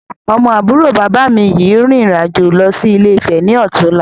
Ọmọ àbúrò bàbá mi yìí rìn ìrìn-àjò lọ sí Ilé-Ifè ni ó tún la